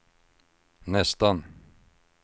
nästan